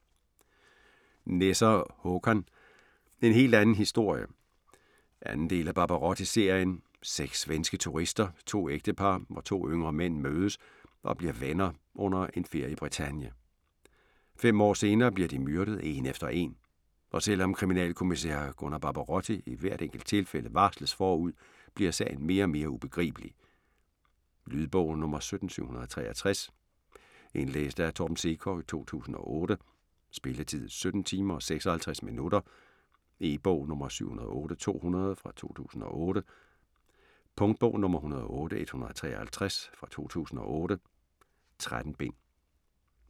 Nesser, Håkan: En helt anden historie 2. del af Barbarotti-serien. Seks svenske turister, to ægtepar og to yngre mænd, mødes og bliver venner under en ferie i Bretagne. Fem år senere bliver de myrdet, én efter én, og selv om kriminalkommissær Gunnar Barbarotti i hvert enkelt tilfælde varsles forud, bliver sagen mere og mere ubegribelig. Lydbog 17763 Indlæst af Torben Sekov, 2008. Spilletid: 17 timer, 56 minutter. E-bog 708200 2008. Punktbog 108153 2008. 13 bind.